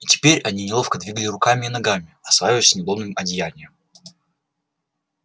и теперь они неловко двигали руками и ногами осваиваясь с неудобным одеянием